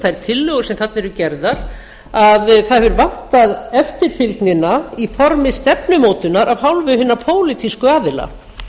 þær tillögur sem þarna eru gerðar þar hefur vantað eftirfylgnina í formi stefnumótunar af hálfu hinna pólitísku aðila